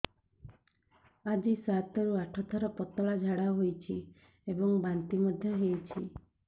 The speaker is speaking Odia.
ଆଜି ସାତରୁ ଆଠ ଥର ପତଳା ଝାଡ଼ା ହୋଇଛି ଏବଂ ବାନ୍ତି ମଧ୍ୟ ହେଇଛି